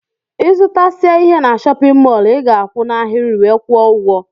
Ịzụtasia ihe n'shóppin mol i ga-akwu n'ahiri wee kwuo ụgwọ.